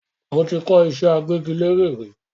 Mo ti kọ́ ìṣẹ́ agbẹ́gilére rí